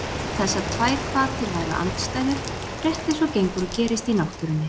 Þessar tvær hvatir væru andstæður, rétt eins og gengur og gerist í náttúrunni.